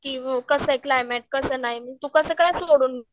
कसंय क्लायमेट कसं नाही तू कसं काय सोडून